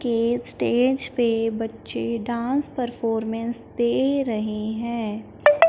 के स्टेज पे बच्चे डांस परफॉर्मेंस दे रहे हैं।